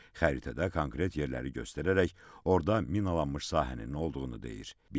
Xəritədə konkret yerləri göstərərək orda minalanmış sahənin olduğunu deyir.